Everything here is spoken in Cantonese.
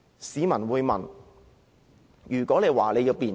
市民會問，如果為求便捷......